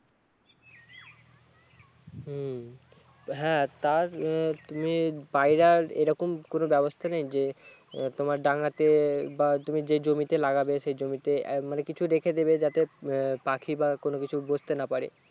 হম হ্যাঁ তার তুমি বাইরে আর এরকম কোনো ব্যাবস্থা নেই যে তোমার ডাঙ্গাতে বা তুমি যে জমিতে লাগাবে সেই জমিতে মানে কিছু রেখে দেবে যাতে পাখি বা অন্য কিছু বসতে না পারে